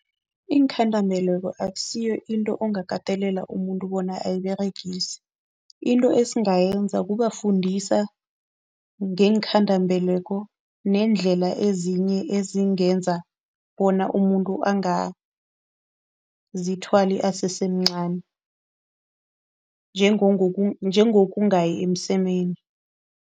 Iinkhandambeleko akusiyo into ongakatelela umuntu bona ayiberegise. Into esingayenza kubafundisa ngeenkhandambeleko neendlela ezinye ezingenza bona umuntu angazithwala asesemncani njengokungayi emsemeni.